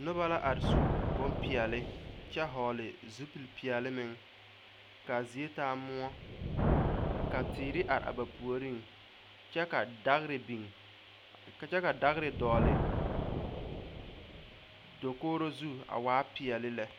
Noba are su bonpeɛlle kyɛ vɔgle zupilpeɛlle meŋ ka a zie taa moɔ ka teere are a ba puoriŋ kyɛ ka dagre biŋ kyɛ ka dagre dɔgle dakogro zu a waa peɛlle lɛ.